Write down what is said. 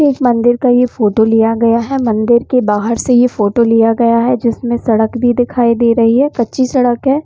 मंदिर का ये फोटो लिया गया है मंदिर के बाहर से ये फोटो लिया गया है जिसमे सड़क भी दिखाई दे रही है कच्ची सड़क है।